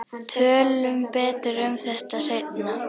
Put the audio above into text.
Tölum betur um þetta seinna.